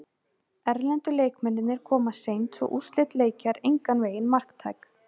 Erlendu leikmennirnir koma seint svo úrslit leikja er engan vegin marktæk.